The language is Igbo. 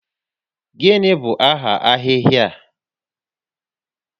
Gịnị bụ aha ahịhịa a?